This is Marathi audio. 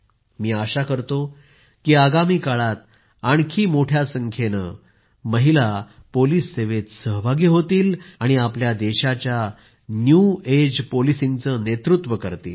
मी आशा करतो की आगामी काळात आणखी जास्त संख्येने महिला पोलिस सेवेत सहभागी होतील आपल्या देशाच्या न्य एज पोलिसिंगचे नेतृत्व करतील